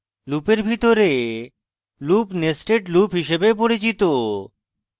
লুপের ভিতরে loop nested loop হিসাবে পরিচিত